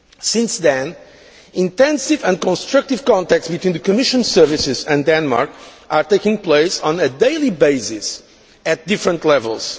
Since then, intensive and constructive contacts between the Commission services and Denmark are taking place on a daily basis at different levels.